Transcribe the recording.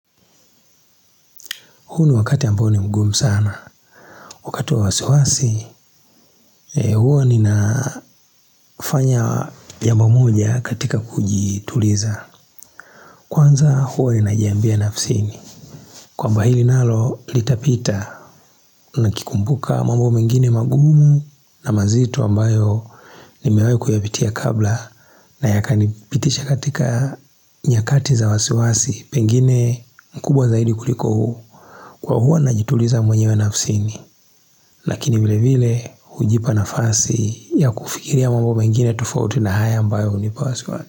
Huu ni wakati ambao ni mgumu sana. Wakati wa wasiwasi, huwa ninafanya jambo moja katika kujituliza. Kwanza huwa ninajiambia nafsini. Kwamba hili nalo litapita, nakikumbuka mambo mengine magumu na mazito ambayo nimewahi kuyapitia kabla. Na yakanipitisha katika nyakati za wasiwasi, pengine mkubwa zaidi kuliko huu. Kwa huwa najituliza mwenyewe nafsini. Lakini vile vile hujipa nafasi ya kufikiria mambo mengine tofauti na haya ambayo hunipa wasiwasi.